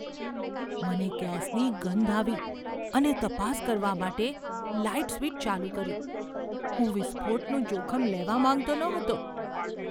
મને ગેસની ગંધ આવી અને તપાસ કરવા માટે લાઇટ સ્વીચ ચાલુ કરી. હું વિસ્ફોટનું જોખમ લેવા માંગતો ન હતો.